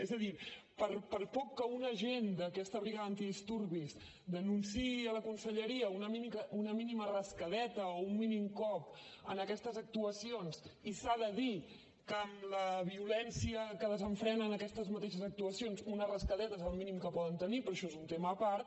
és a dir per poc que un agent d’aquesta brigada antidisturbis denunciï a la conselleria una mínima rascadeta o un mínim cop en aquestes actuacions i s’ha de dir que amb la violència que desenfrenen aquestes mateixes actuacions una rascadeta és el mínim que poden tenir però això és un tema a part